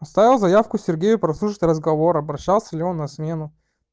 оставил заявку сергею прослушать разговор обращался ли он на смену